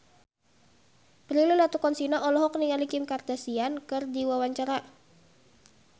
Prilly Latuconsina olohok ningali Kim Kardashian keur diwawancara